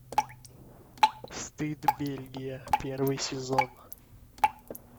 стыд бельгия первый сезон